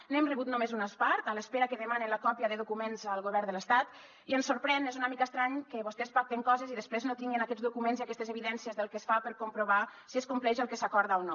n’hem rebut només una part en espera que demanen la còpia de documents al govern de l’estat i ens sorprèn és una mica estrany que vostès pacten coses i després no tinguin aquests documents i aquestes evidències del que es fa per comprovar si es compleix el que s’acorda o no